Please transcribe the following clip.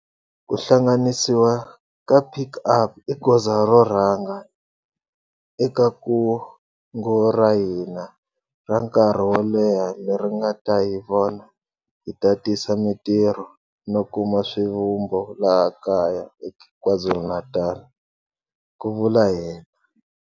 Ku hlanganisiwa ka Pik Up i goza ro rhanga eka kungu ra hina ra nkarhi wo leha leri nga ta hi vona hi tatisa mitirho no kuma swivumbo laha kaya eKwaZulu-Natal, ku vula yena.